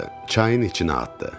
Çayın içinə atdı.